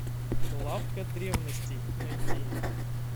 лавка древностей найти